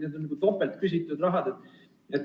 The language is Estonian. See on nagu topelt küsitud raha.